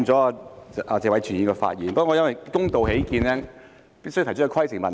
打斷了謝偉銓議員的發言，但為了公道起見，所以我提出規程問題。